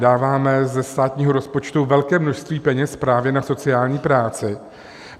Dáváme ze státního rozpočtu velké množství peněz právě na sociální práci.